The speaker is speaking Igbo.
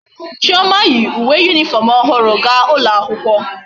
Chioma yi uwe uniform ohuru ga ulo akwukwo